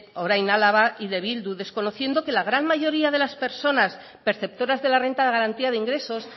orain araba y de bildu desconociendo que la gran mayoría de las persona perceptoras de la renta de garantía de ingresos